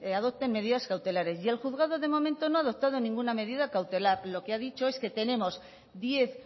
adopten medidas cautelares y el juzgado de momento no ha adoptado ninguna medida cautelar lo que ha dicho es que tenemos diez